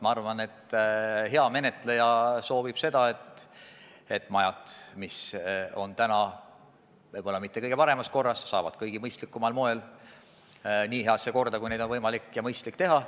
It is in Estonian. Ma arvan, et hea menetleja soovib seda, et majad, mis on täna võib-olla mitte kõige paremas korras, saavad kõige mõistlikumal moel nii heasse korda, kui on vähegi võimalik ja mõistlik teha.